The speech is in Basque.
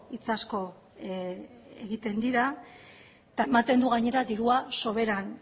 hitz asko egiten dira eta ematen du gainera dirua soberan